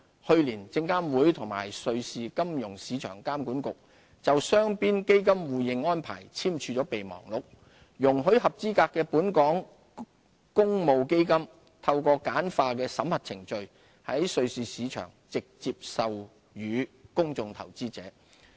去年，證監會與瑞士金融市場監管局就雙邊基金互認安排簽署備忘錄，容許合資格的本港公募基金透過簡化的審核程序，在瑞士市場直接銷售予公眾投資者。